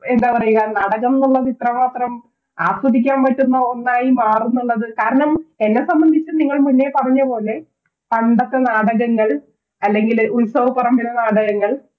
എന്താ പറയാ നാടകം എന്നുള്ളത് ഇത്രമാത്രം ആസ്വദിക്കാൻ പറ്റുന്ന ഒന്നായി മാറുംന്നുള്ളത് കാരണം എന്നെ സംബന്ധിച്ച് നിങ്ങൾ മുന്നേ പറഞ്ഞപോലെ പണ്ടത്തെ നാടകങ്ങൾ ഉത്സവപ്പറമ്പിലെ നാടകങ്ങൾ